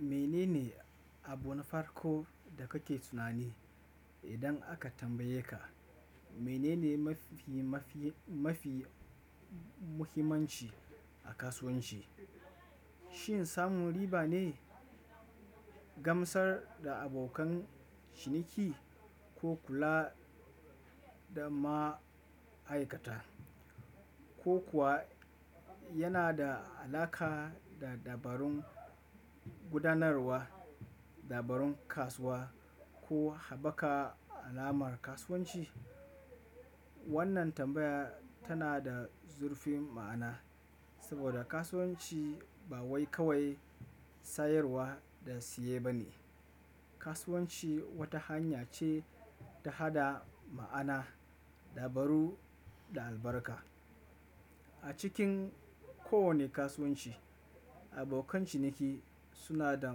Mene ne abun farko da kake tunani idan aka tambaye ka mene ne mafi mafi mafi muhimmanci a kasuwanci? Shin samun riba ne? Gamsar da abokan ciniki ko kula da ma'aikata, ko kuwa yana da al'aƙar da dabarun gudanarwa, dabarun kasuwa ko haɓaka alamar kasuwanci? Wannan tambaya tana da zurfin ma'ana saboda kasuwanci ba wai kawai sayarwa da siye ba ne. Kasuwanci wata hanya ce ta haɗa ma'ana, dabaru da albarka. A cikin kowane kasuwanci, abokan ciniki suna da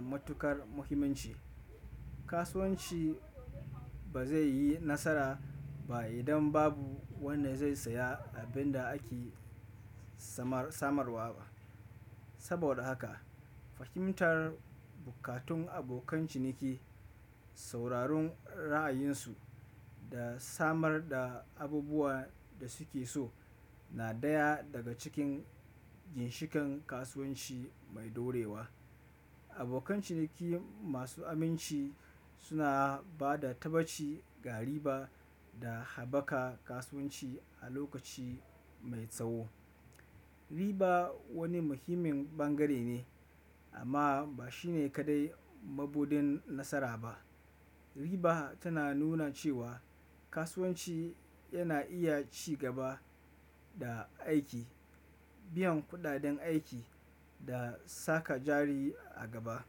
matuƙar muhimmanci. Kasuwanci ba zai yi nasara ba idan babu wanda zai saya abin da ake samarwa ba. Saboda haka, fahimtar bukatun abokan ciniki, sauraron ra'ayinsu da samar da abubuwa da su ke so na daya daga cikin ginshikan kasuwanci mai ɗorewa. Abokan ciniki masu aminci suna ba da taɓaci ga riba da haɓaka kasuwanci a lokaci mai tsawo. Riba wani muhimmin bangare ne amma ba shi ne kaɗai mabuɗin nasara ba. Riba tana nuna cewa kasuwanci yana iya ci gaba da aiki, biyan kuɗaɗen aiki da saka jari a gaba.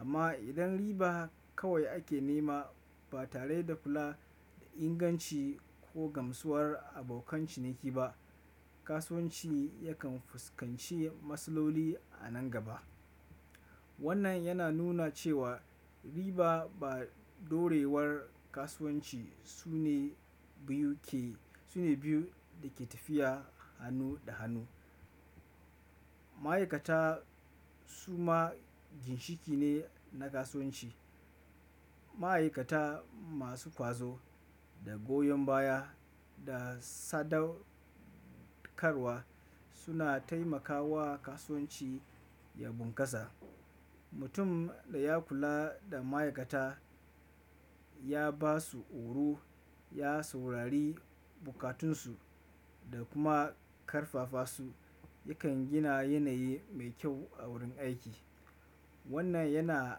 Amma idan riba kawai ake nema ba tare da kula da inganci ko gamsuwar abokan ciniki ba, kasuwanci yakan fuskanci matsaloli a nan gaba. Wannan yana nuna cewa riba da ɗorewar kasuwanci su ne biyu ke, su ne biyu da ke tafiya hannu da hannu. Ma'aikata su ma ginshiki ne na kasuwanci. Ma'aikata masu ƙwazo da goyon baya da sadaukarwa suna taimakawa kasuwanci ya bunkasa. Mutum da ya kula da ma'aikata, ya ba su oru, ya saurari bukatunsu da kuma ƙarfafa su, yakan gina yanayi mai kyau a wurin aiki. Wannan yana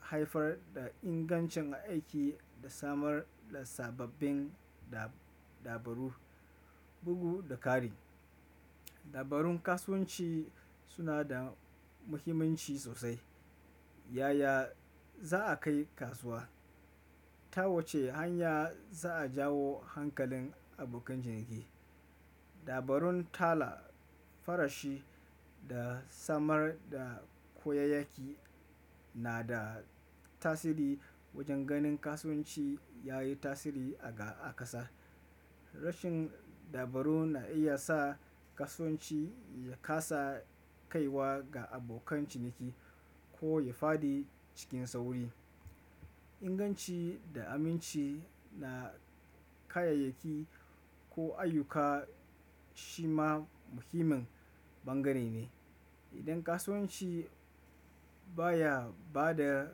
haifar da ingancin aiki da samar da sababbin dab-dabarur, bugu da kari. Dabarun kasuwanci suna da muhimmanci sosai. Yaya za'a kai kasuwa? Ta wace hanya za'a jawo hankalin abokan ciniki? Dabarun talafarashi da samar da koyayyaki na da tasiri wajen ganin kasuwanci ya yi tasiri a ga a kasa. Rashin dabaru na iya sa kasuwanci ya kasa kaiwa ga abokan ciniki ko ya faɗi cikin sauri. Inganci da aminci na kayayyaki ko ayyuka shi ma muhimmin bangare ne. Idan kasuwanci baya ba da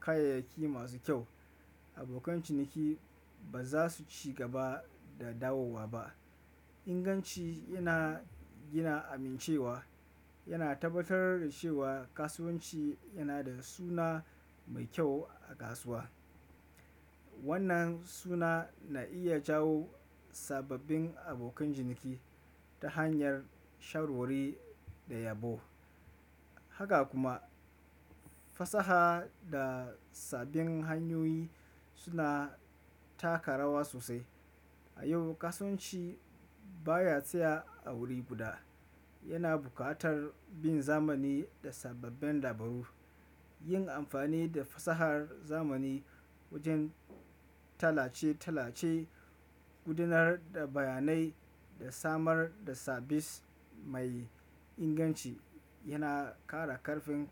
kayayyaki masu kyau, abokan ciniki ba za su ci gaba da dawowa ba. Inganci yana gina amincewa. Yana tabbatar da cewa kasuwanci yana da suna mai kyau a kasuwa. Wannan suna na iya jawo sababbin abokan ciniki ta hanyar sharwarri da yabo. Haka kuma fasaha da sabbin hanyoyi suna taka rawa sosai. A yau kasuwanci baya tsaya a wuri guda. Yana buƙatar bin zamani da sababben dabaru. Yin amfani da fasahar zamani wajen tallace-tallace, gudanar da bayanai da samar da sabis mai inganci yana ƙara ƙarfin.